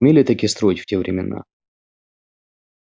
умели-таки строить в те времена